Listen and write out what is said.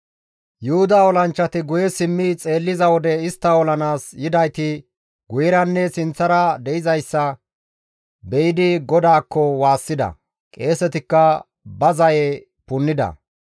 Yuhuda olanchchati guye simmi xeelliza wode istta olanaas yidayti guyeranne sinththara de7izayssa be7idi GODAAKKO waassida; qeesetikka ba zaye punnida.